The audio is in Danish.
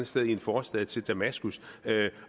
sted i en forstad til damaskus